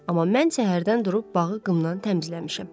Amma mən səhərdən durub bağı qımdan təmizləmişəm.